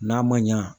N'a ma ɲa